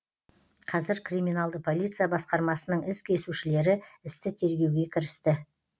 қазір криминалды полиция басқармасының із кесушілері істі тергеуге кірісті